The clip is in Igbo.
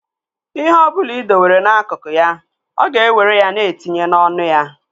Ihe ọ ọbụla ị dowere n'akụkụ ya, ọ ga-ewere ya na etinye n'ọnụ ya